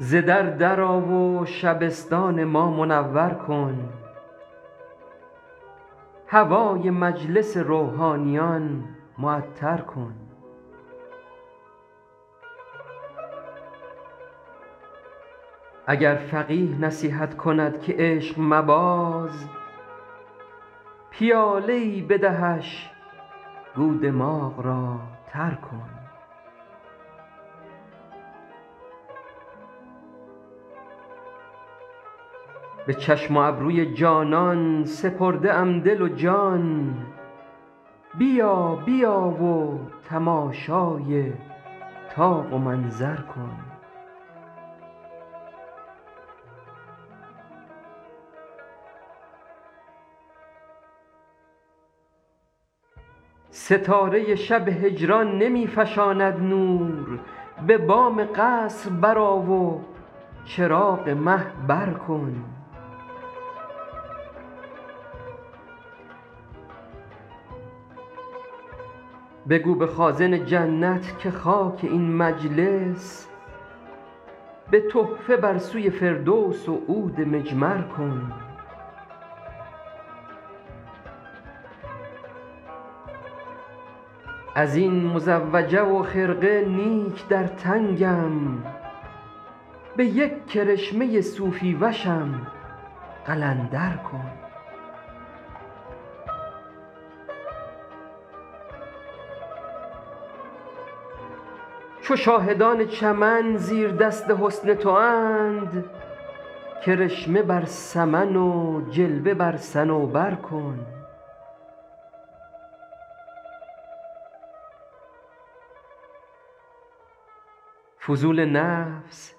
ز در در آ و شبستان ما منور کن هوای مجلس روحانیان معطر کن اگر فقیه نصیحت کند که عشق مباز پیاله ای بدهش گو دماغ را تر کن به چشم و ابروی جانان سپرده ام دل و جان بیا بیا و تماشای طاق و منظر کن ستاره شب هجران نمی فشاند نور به بام قصر برآ و چراغ مه بر کن بگو به خازن جنت که خاک این مجلس به تحفه بر سوی فردوس و عود مجمر کن از این مزوجه و خرقه نیک در تنگم به یک کرشمه صوفی وشم قلندر کن چو شاهدان چمن زیردست حسن تواند کرشمه بر سمن و جلوه بر صنوبر کن فضول نفس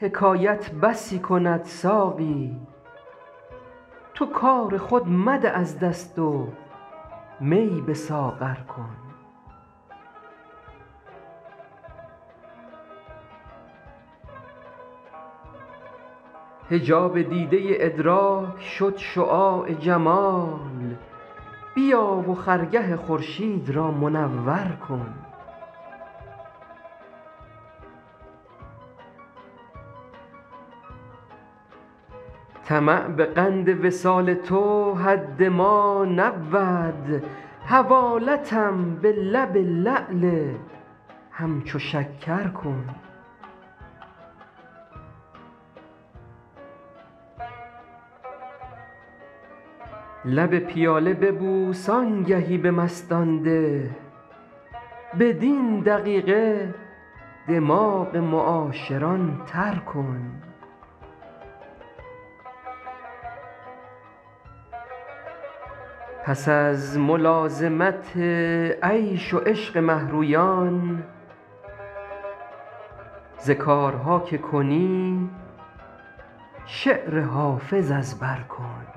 حکایت بسی کند ساقی تو کار خود مده از دست و می به ساغر کن حجاب دیده ادراک شد شعاع جمال بیا و خرگه خورشید را منور کن طمع به قند وصال تو حد ما نبود حوالتم به لب لعل همچو شکر کن لب پیاله ببوس آنگهی به مستان ده بدین دقیقه دماغ معاشران تر کن پس از ملازمت عیش و عشق مه رویان ز کارها که کنی شعر حافظ از بر کن